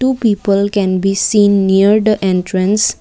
two people can be seen near the entrance.